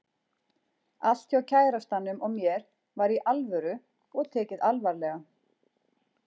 Allt hjá kærastanum og mér var Í ALVÖRU og tekið alvarlega.